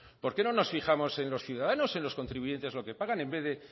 por qué no nos fijamos en los ciudadanos en los contribuyentes lo que pagan en vez de